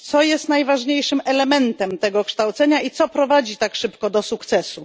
Co jest najważniejszym elementem tego kształcenia i co prowadzi tak szybko do sukcesu?